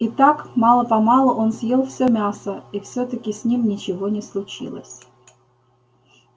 и так мало помалу он съел всё мясо и всё таки с ним ничего не случилось